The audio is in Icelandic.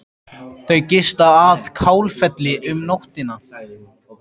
Þau gista að Kálfafelli um nóttina.